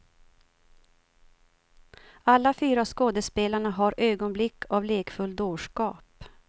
Alla fyra skådespelarna har ögonblick av lekfull dårskap.